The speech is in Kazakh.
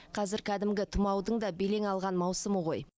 қазір кәдімгі тұмаудың да белең алған маусымы ғой